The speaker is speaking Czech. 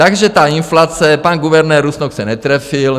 Takže ta inflace: pan guvernér Rusnok se netrefil.